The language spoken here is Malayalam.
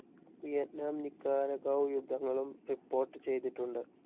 വിയറ്റ്‌നാം നിക്കാരാഗ്വെ യുദ്ധങ്ങളും റിപ്പോർട്ട്‌ ചെയ്തിട്ടുണ്ട്.